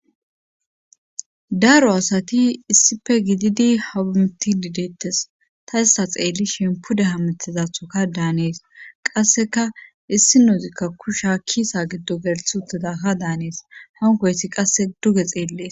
daaro asati issife gididi habumti didettes ta issa xeelli shempude hamitizathoka daanees qasseka issi nuuzikka kusha kiisa giddo gelth uteda ha daanees honkoyesi qasse duge xeellees